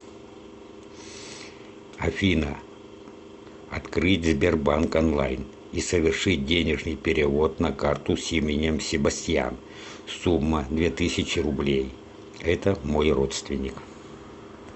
афина открыть сбербанк онлайн и совершить денежный перевод на карту с именем себастьян сумма две тысячи рублей это мой родственник